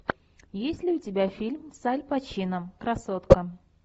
есть ли у тебя фильм с аль пачино красотка